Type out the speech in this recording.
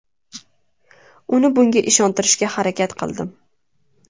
Uni bunga ishontirishga harakat qildim.